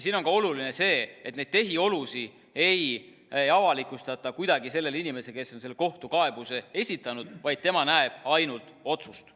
Siin on ka oluline see, et neid tehiolusid ei avalikustata kuidagi sellele inimesele, kes on kohtukaebuse esitanud, vaid tema näeb ainult otsust.